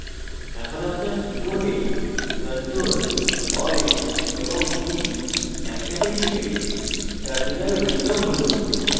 আপনার keyboard ctrl alt এবং t একসাথে টিপে terminal window খুলুন